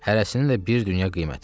Hərəsinin də bir dünya qiyməti var.